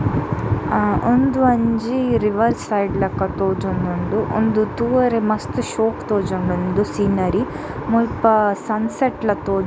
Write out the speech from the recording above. ಅ ಉಂದು ಒಂಜಿ river side ಲಕ ತೋಜೊಂದುಂಡು ಉಂದು ತೂವರೆ ಮಸ್ತ್ ಶೋಕು ತೋಜೊಂದುಂಡು ಸೀನರಿ ಮುಲ್ಪ ಸನ್ಸೆಟ್ ಲ ತೋಜು --